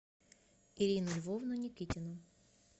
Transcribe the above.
ирину львовну никитину